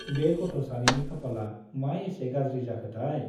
बे गथ' सानैनि खाफाला मा एसे गाज्रि जाखोथाय !